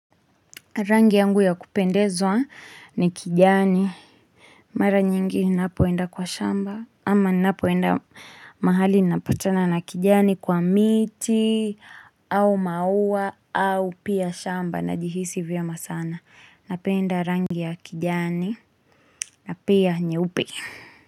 Rangi yangu ya kupendezwa ni kijani. Mara nyingi inapoenda kwa shamba. Ama inapoenda mahali napatana na kijani kwa miiti au maua au pia shamba najihisi vyema sana. Napenda rangi ya kijani na pia nyeupe.